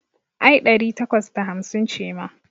Ai ɗari takwas da hamsin ce ma.